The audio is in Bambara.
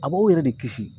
A b'aw yɛrɛ de kisi